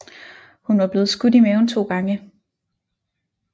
Hun var blevet skudt i maven 2 gange